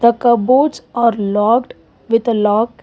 a cupboards are locked with a lock.